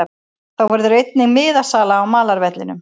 Þá verður einnig miðasala á malarvellinum.